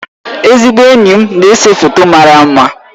Ezigbo enyi m na-ese foto mara mma